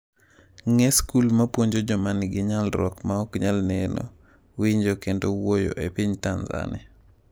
Ng'e skul mapuonjo joma nigi nyalruok ma ok nyal neno, winjo kendo wuoyo e piny Tanzania